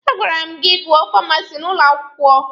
A gwara m gị gụọ Famasi n'ụlọ akwụkwọ!